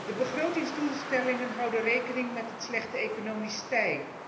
De begrotingsdoelstellingen houden rekening met het slechte economisch tij.